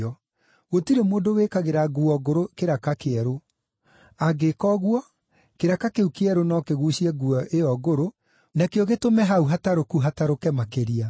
“Gũtirĩ mũndũ wĩkagĩra nguo ngũrũ kĩraka kĩerũ. Angĩĩka ũguo, kĩraka kĩu kĩerũ no kĩguucie nguo ĩyo ngũrũ, nakĩo gĩtũme hau hatarũku hatũrĩke makĩria.